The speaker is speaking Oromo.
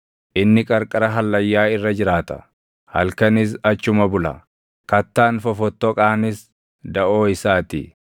Inni qarqara hallayyaa irra jiraata; halkanis achuma bula; kattaan fofottoqaanis daʼoo isaa ti.